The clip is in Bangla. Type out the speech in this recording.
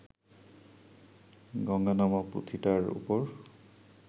জঙ্গনামা’ পুথিটার ওপর